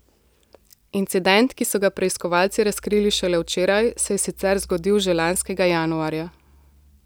Incident, ki so ga preiskovalci razkrili šele včeraj, se je sicer zgodil že lanskega januarja.